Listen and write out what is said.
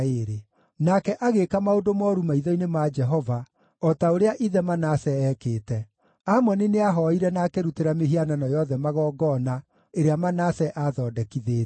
Nake agĩĩka maũndũ mooru maitho-inĩ ma Jehova, o ta ũrĩa ithe Manase eekĩte. Amoni nĩahooire na akĩrutĩra mĩhianano yothe magongona ĩrĩa Manase aathondekithĩtie.